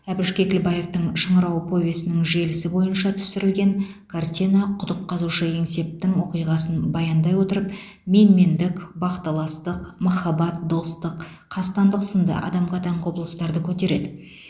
әбіш кекілбаевтың шыңырау повесінің желісі бойынша түсірілген картина құдық қазушы еңсептің оқиғасын баяндай отырып менмендік бақталастық махаббат достық қастандық сынды адамға тән құбылыстарды көтереді